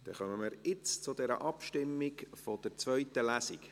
Jetzt kommen wir zur Abstimmung über die Durchführung einer zweiten Lesung.